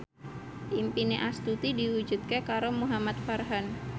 impine Astuti diwujudke karo Muhamad Farhan